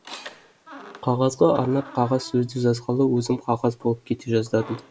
қағазға арнап қағаз сөзді жазғалы өзім қағаз болып кете жаздадым